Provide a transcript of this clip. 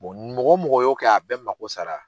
mɔgɔ o mɔgɔ y'o kɛ a bɛ mako sara.